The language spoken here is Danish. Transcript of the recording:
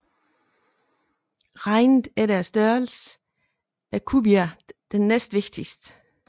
Regnet efter størrelse er Cubia den næstvigtigste